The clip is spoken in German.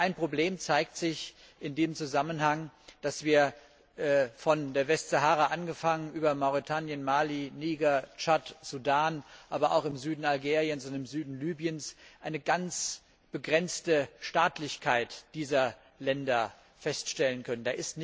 Ein Problem zeigt sich in dem Zusammenhang, nämlich dass wir von der Westsahara angefangen über Mauretanien, Mali, Niger, Tschad, Sudan, aber auch im Süden Algeriens und im Süden Libyens eine ganz begrenzte Staatlichkeit dieser Länder feststellen können.